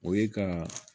O ye ka